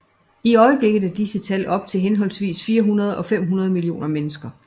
I øjeblikket er disse tal op til henholdsvis 400 og 500 millioner mennesker